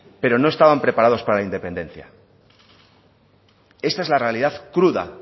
pero no estaban preparados para la independencia esta es la realidad cruda